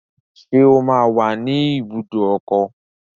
Ṣé ó máa wà ní ibùdó ọkọ̀?